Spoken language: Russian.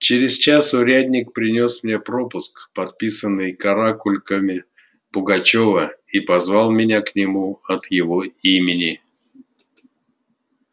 через час урядник принёс мне пропуск подписанный каракульками пугачёва и позвал меня к нему от его имени